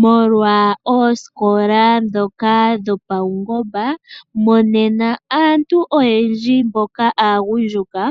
Molwa oosikola ndhoka dhopaungomba, monena aantu oyendji mboka aagundjuka